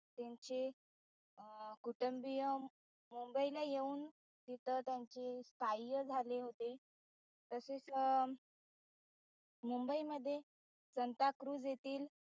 त्यांचे कुटंबीय मुंबईला येऊन तिथं त्यांचे स्थाय झाले होते. तसेच मुबई मध्ये सांताक्रुज येथील